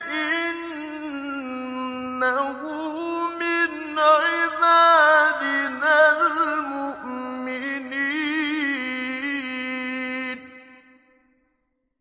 إِنَّهُ مِنْ عِبَادِنَا الْمُؤْمِنِينَ